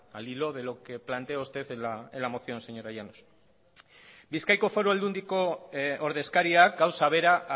al hilo de lo que plantea usted en la moción señora llanos bizkaiko foru aldundiko ordezkariak gauza bera